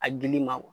A dili ma